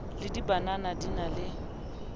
le dibanana di na le